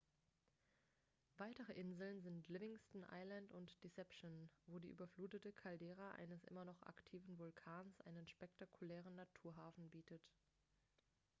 weitere inseln sind livingston island und deception wo die überflutete caldera eines immer noch aktiven vulkans einen spektakulären naturhafen bietet